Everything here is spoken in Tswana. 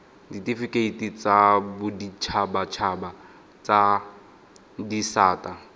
ditifikeiti tsa boditshabatshaba tsa disata